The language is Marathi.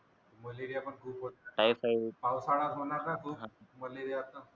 मलेरिया पण खूपच टाइफाइड पावसाळयात होणार ना खूप मलेरिया